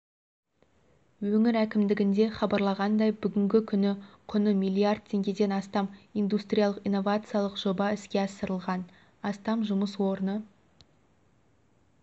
өңір әкімдігінде хабарлағандай бүгінгі күні құны миллиард теңгеден астам индустриялық-инновациялық жоба іске асырылған астам жұмыс орны